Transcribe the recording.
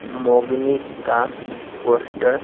का पोस्टर --